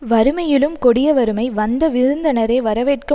வறுமையிலும் கொடிய வறுமை வந்த விருந்தினரை வரவேற்க